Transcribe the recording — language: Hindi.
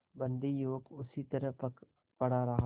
बंदी युवक उसी तरह पड़ा रहा